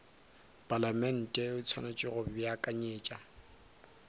palamente o swanetše go beakanyetša